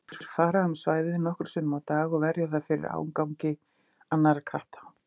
Þeir fara um svæðið nokkrum sinnum á dag og verja það fyrir ágangi annarra katta.